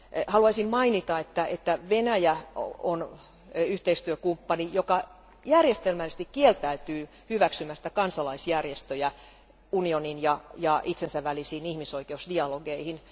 Haluaisin mainita, että Venäjä on yhteistyökumppani, joka järjestelmällisesti kieltäytyy hyväksymästä kansalaisjärjestöjä unionin ja itsensä välisiin ihmisoikeusdialogeihin.